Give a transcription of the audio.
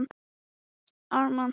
En sjónin sé ekki nógu góð.